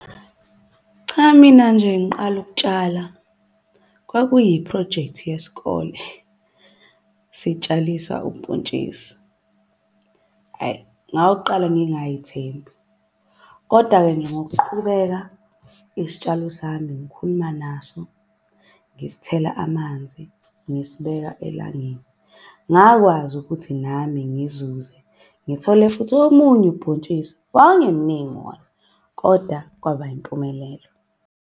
Cha mina nje ngiqala ukutshala kwakuyi phrojekthi yesikole sitshaliswa ubhontshisi. Hhayi, ngawuqala ngingay'thembi, koda-ke nje ngokuqhubeka isitshalo sami ngikhuluma naso. Ngisithela amanzi, ngisibeka elangeni, ngakwazi ukuthi nami ngizuze ngithole futhi omunye ubhontshisi. Wawungemningi wona koda kwaba impumelelo.